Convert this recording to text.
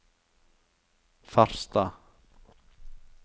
Farstad